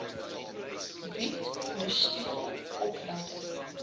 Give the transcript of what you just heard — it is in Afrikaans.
bied ondersteuning opleiding